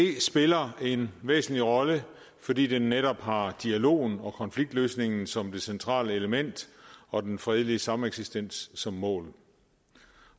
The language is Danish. spiller en væsentlig rolle fordi den netop har dialogen og konfliktløsningen som det centrale element og den fredelige sameksistens som mål